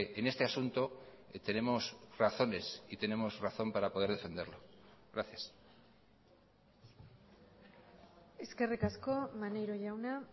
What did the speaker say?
en este asunto tenemos razones y tenemos razón para poder defenderlo gracias eskerrik asko maneiro jauna